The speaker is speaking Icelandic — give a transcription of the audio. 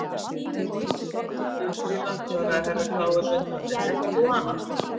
Já Grýla, svaraði Herra Kláus undrandi, þekkir þú hana?